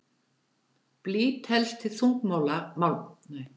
Blý telst til þungmálma en dæmi um aðra þungmálma eru kvikasilfur og kadmíum.